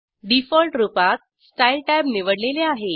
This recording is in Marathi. डिफॉल्ट रूपात स्टाईल टॅब निवडलेले आहे